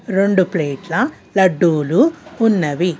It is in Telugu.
రెండు ప్లేట్ల లడ్డులు ఉన్నవి.